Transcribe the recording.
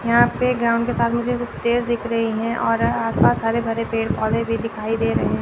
यहां पे गांव के साथ मुझे कुछ स्टेज दिख रही है और आसपास हरे भरे पेड़-पौधे भी दिखाई दे रहे हैं।